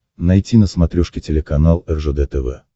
найти на смотрешке телеканал ржд тв